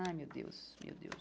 Ai, meu Deus, meu Deus.